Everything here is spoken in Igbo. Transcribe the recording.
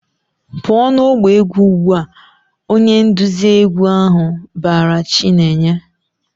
"Pụọ n'ọgbọ egwu ugbu a!" Onye nduzi egwu ahụ bara Chinenye.